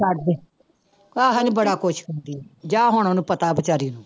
ਛੱਡਦੇ ਆਹੋ ਨੀ ਬੜਾ ਖ਼ੁਸ਼ ਹੁੰਦੀ ਹੈ, ਜਾਂ ਹੁਣ ਉਹਨੂੰ ਪਤਾ ਬੇਚਾਰੀ ਨੂੰ